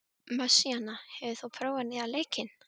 Messíana, hefur þú prófað nýja leikinn?